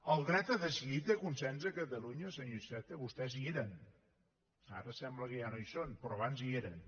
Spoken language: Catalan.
el dret a decidir té consens a catalunya senyor iceta vostès hi eren ara sembla que ja no hi són però abans hi eren